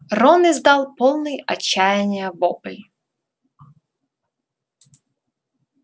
рон издал полный отчаяния вопль